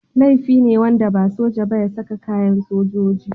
Laifi ne wanda ba soja ba ya saka kayan sojoji.